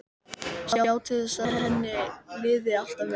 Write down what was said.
Sjá til þess að henni liði alltaf vel.